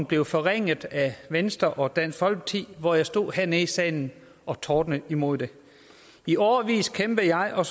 blev forringet af venstre og dansk folkeparti og jeg stod hernede i salen og tordnede imod det i årevis kæmpede jeg og